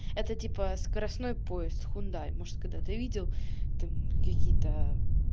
это типа скоростной поезд хюндай может когда-то видел там какие-то